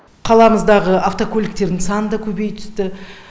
қаламыздағы автокөліктердің саны да көбейе түсті